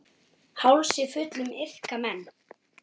Hálsi fullum iðka menn.